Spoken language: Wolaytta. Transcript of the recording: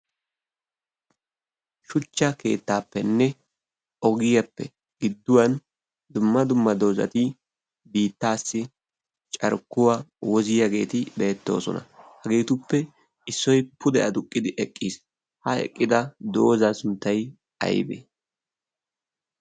Shuuchcha keettaappenne ogiyaappe gidduwaan dumma dumma doozati biittaasi carkkuwaa wooziyaageti bettoosona. hageetuppe issoy pude adduqqidi eqqiis. ha eqqida zoozaa sunttay aybee?